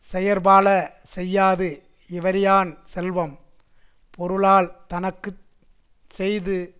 செயற்பால செய்யாது இவறியான் செல்வம் பொருளால் தனக்கு செய்து